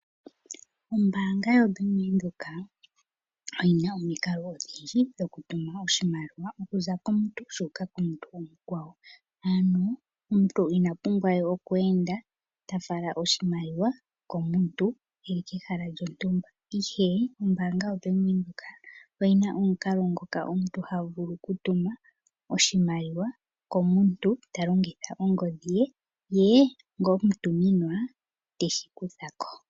Ombaanga yoBank windhoek oyina omikalo odhindji dho ku tuma oshimaliwa okuza komuntu shuuka komuntu omukwawo. Ano omuntu ina pumbwa we oku enda tafala oshimaliwa komuntu eli kehala lyontumba, ihe ombaanga yaBank windhoek oyina omukalo ngoka omuntu ha vulu okutuma oshimaliwa komuntu ta longitha ongodhi ye, ye ngo omutuminwa teshi kuthako.